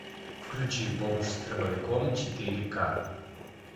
включи бомж с дробовиком четыре к